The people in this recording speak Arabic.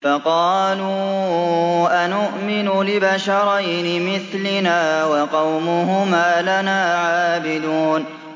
فَقَالُوا أَنُؤْمِنُ لِبَشَرَيْنِ مِثْلِنَا وَقَوْمُهُمَا لَنَا عَابِدُونَ